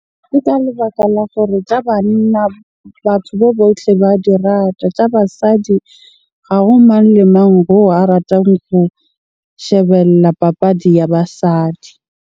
Ke ka lebaka la gore tja banna batho bo botle ba di rata. Tja basadi ha ho mang le mang oo a ratang ho shebella papadi ya basadi.